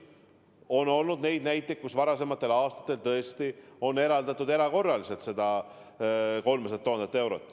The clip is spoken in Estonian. On olnud nii, et varasematel aastatel tõesti on eraldatud erakorraliselt need 300 000 eurot.